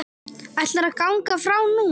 Ætlarðu að ganga frá núna?